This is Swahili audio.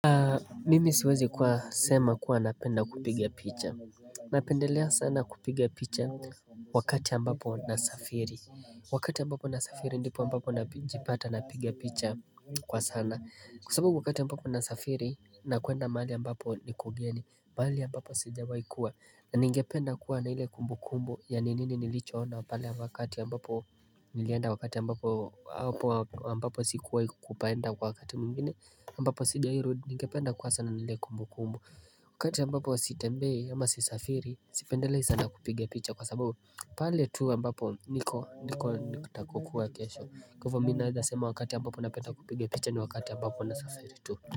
Mimi siwezi kuwa sema kuwa napenda kupiga picha Napendelea sana kupiga picha wakati ambapo nasafiri Wakati ambapo nasafiri ndipo ambapo najipata napiga picha kwa sana Kwa sababu wakati ambapo nasafiri nakuenda mahali ambapo ni kugeni mahali ambapo sijawai kuwa na ningependa kuwa na ile kumbu kumbu Yani nini nilicho ona pale wakati ambapo Nilienda wakati ambapo hapo ambapo sikuwa kupaenda wakati mwingine aMbapo singewai rudi ninge penda kuwa sana na ile kumbu kumbu wakati ambapo sitembei ama sisafiri sipendelei sana kupiga picha kwa sababu pale tu ambapo niko niko nikutakukua kesho Kwa hivo minaweza sema wakati ambapo napenda kupiga picha ni wakati ambapo nasafiri tu.